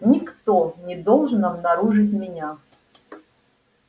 никто не должен обнаружить меня